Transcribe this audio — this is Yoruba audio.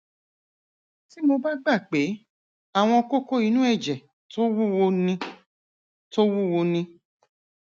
tí mo bá gbà pé àwọn kókó inú ẹjẹ tó wúwo ni tó wúwo ni